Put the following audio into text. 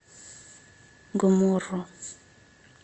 гомморо